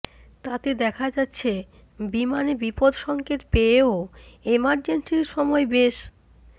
তাতে দেখা যাচ্ছে বিমানে বিপদসঙ্কেত পেয়েও এমার্জেন্সির সময় বেশ